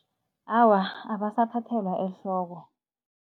Awa, abasathathelwa ehloko.